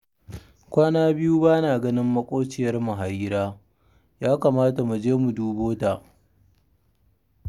Kwana biyu ba na ganin maƙwabciyarmu Harira, ya kamata mu je mu dubo ta